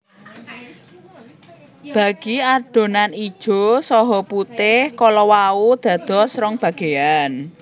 Bagi adonan ijo saha putih kala wau dados rong bageyan